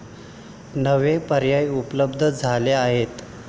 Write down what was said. नवे पर्याय उपलब्ध झाले आहेत.